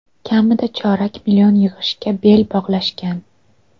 Kamida chorak million yig‘ishga bel bog‘lashgan.